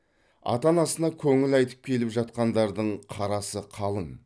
ата анасына көңіл айтып келіп жатқандардың қарасы қалың